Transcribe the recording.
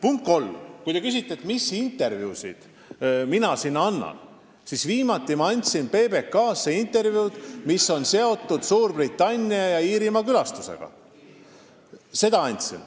Punkt kolm: kui te küsite, mis intervjuusid mina sinna annan, siis viimati ma andsin PBK-le intervjuu, mis oli seotud Suurbritannia ja Iirimaa külastusega.